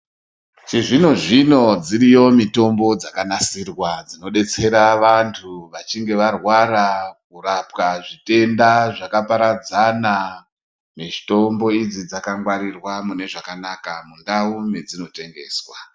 Chizvino-zvino, dziiriyo mitombo dzakanasirwa, dzinodetsera vantu vachinge varwara, kurapwa zvitenda zvakaparadzana, nezvitombo idzi dzakagwarirwa mune zvakanaka ,mundau medzino tengeswa.